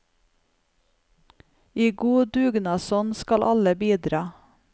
I god dugnadsånd skal alle bidra.